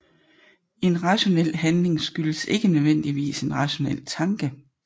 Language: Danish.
En rationel handling skyldes ikke nødvendigvis en rationel tanke